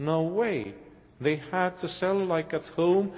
No way they have to sell like at home.